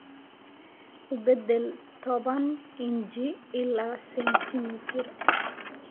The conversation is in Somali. u beddel toban inji ilaa sentimitir